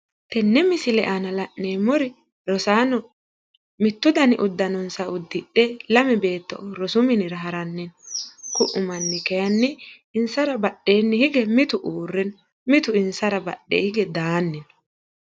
Tenne misile aana la'neemmori rosaano mittu dani uddanonsa uddidhe lame beeto rosu minira haranni no ku'u manni kayiinni insara badheenni hige mitu uurre no mitu insara badheenni hige daanni no.